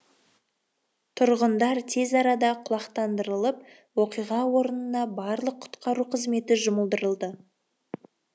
тұрғындар тез арада құлақтандырылып оқиға орнына барлық құтқару қызметі жұмылдырылды